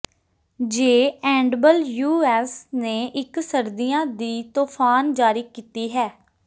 ਜੇ ਐਨਡਬਲਯੂਐਸ ਨੇ ਇਕ ਸਰਦੀਆਂ ਦੀ ਤੂਫਾਨ ਜਾਰੀ ਕੀਤੀ ਹੈ